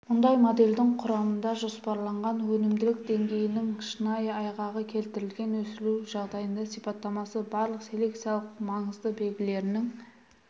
мұндай моделдің құрамында жоспарланған өнімділік деңгейінің шынайы айғағы келтірілген өсіру жағдайының сипаттамасы барлық селекциялық маңызды белгілерінің